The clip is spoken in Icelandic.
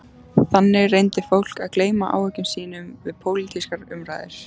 Þannig reyndi fólk að gleyma áhyggjum sínum við pólitískar umræður.